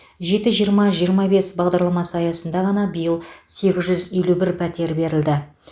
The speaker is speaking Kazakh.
жеті жиырма жиырма бес бағдарламасы аясында ғана биыл сегіз жүз елу бір пәтер берілді